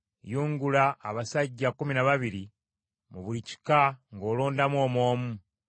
“Yungula abasajja kkumi na babiri mu buli kika ng’olondamu omu omu.”